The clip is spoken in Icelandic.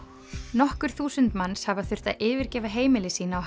nokkur þúsund manns hafa þurft að yfirgefa heimili sín á